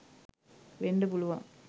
වෙන්ඩ පුළුවන්.